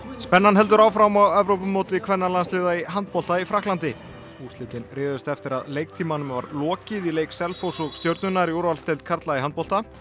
spennan heldur áfram á Evrópumóti kvennalandsliða í handbolta í Frakklandi úrslitin réðust eftir að leiktímanum var lokið í leik Selfoss og Stjörnunnar í úrvalsdeild karla í handbolta